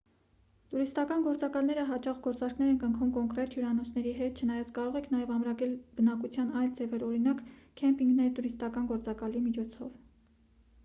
տուրիստական գործակալները հաճախ գործարքներ են կնքում կոնկրետ հյուրանոցների հետ չնայած կարող եք նաև ամրագրել բնակության այլ ձևեր օրինակ քեմպինգներ տուրիստական գործակալի միջոցով